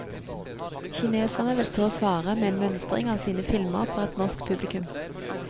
Kineserne vil så svare med en mønstring av sine filmer for et norsk publikum.